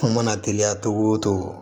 Kuma mana teliya cogo o cogo